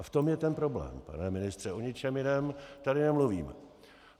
A v tom je ten problém, pane ministře, o ničem jiném tady nemluvíme.